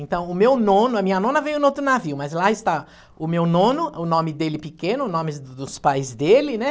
Então, o meu nono, a minha nona veio em outro navio, mas lá está o meu nono, o nome dele pequeno, o nome dos pais dele, né?